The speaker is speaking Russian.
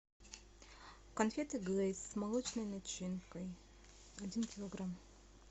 конфеты глэйс с молочной начинкой один килограмм